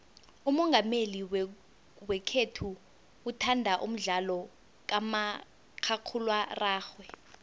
umongameli wekhethu uthanda umdlalo kamakhakhulararhwe